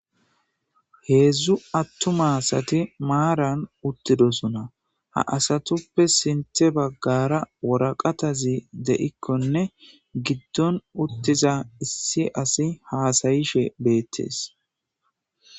Hezdzdu atuma asati maaran utidossonna ha asatuppe sintha bagara waraqataza de"ikkonne gidon utiza issi asi hasayishshe bettes